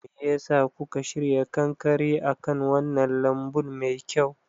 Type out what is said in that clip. Me ya sa kuka shirya kankare akan wannan lambun mai kyau?